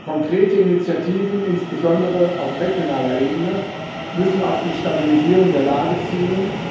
Konkrete Initiativen, insbesondere auf regionaler Ebene, müssen auf die Stabilisierung der Lage zielen.